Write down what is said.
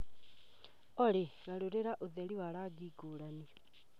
Olly garũrĩra ũtheri wa rangi ngũrani